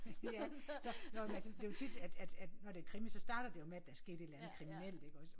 Ja så nåh jo men altså det jo tit når at at at det er krimi så starter det jo med at der er sket et eller andet kriminelt iggås